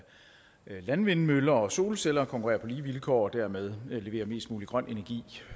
landvindmøller og solceller konkurrere på lige vilkår og dermed levere mest mulig grøn energi